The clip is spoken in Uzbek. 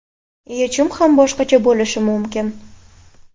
Yechim ham boshqacha bo‘lishi mumkin.